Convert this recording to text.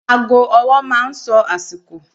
Ago ọwọ́ máa ń àsìkò.